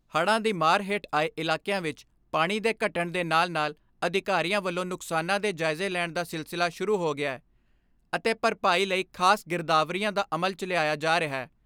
ਹੜ੍ਹਾਂ ਦੀ ਮਾਰ ਹੇਠ ਆਏ ਇਲਾਕਿਆਂ ਵਿੱਚ ਪਾਣੀ ਦੇ ਘਟਣ ਦੇ ਨਾਲ਼ ਨਾਲ਼ ਅਧਿਕਾਰੀਆਂ ਵੱਲੋਂ ਨੁਕਸਾਨਾਂ ਦੇ ਜਾਇਜੇ ਲੈਣ ਦਾ ਸਿਲਸਿਲਾ ਸ਼ੁਰੂ ਹੋ ਗਿਐ ਅਤੇ ਭਰਪਾਈ ਲਈ ਖਾਸ ਗਿਰਦਾਵਰੀਆਂ ਦਾ ਅਮਲ ਚ ਲਾਇਆ ਜਾ ਰਿਹੈ।